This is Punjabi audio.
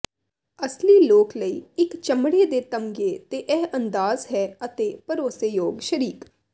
ਅਸਲੀ ਲੋਕ ਲਈ ਇੱਕ ਚਮੜੇ ਦੇ ਤਸਮੇ ਤੇ ਇਹ ਅੰਦਾਜ਼ ਹੈ ਅਤੇ ਭਰੋਸੇਯੋਗ ਸ਼ਰੀਕ